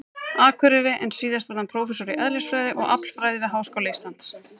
Akureyri, en síðar varð hann prófessor í eðlisfræði og aflfræði við Háskóla Íslands.